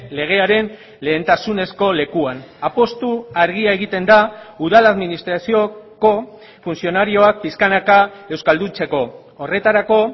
legearen lehentasunezko lekuan apustu argia egiten da udal administrazioko funtzionarioak pixkanaka euskalduntzeko horretarako